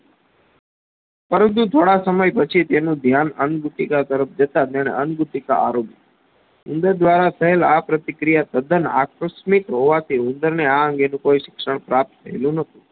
પરંતુ થોડા સમય પછી તેનું ધ્યાન અંગુટિકા તરફ જતા તેને અંગુટિકા આરોગી ઉંદર દ્વારા થયેલ આ પ્રતિ ક્રિયા તદ્દન આકસ્મિત હોવાથી ઉંદરને આ અંગેનું કોઈ શિક્ષણ પ્રાપ્ત થાયેલુંનોતુ